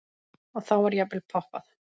Og þá var jafnvel poppað.